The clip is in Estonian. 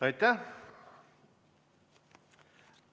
Aitäh!